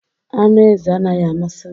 Anụ ezi anaghị amasị m